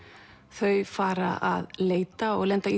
þau fara að leita og lenda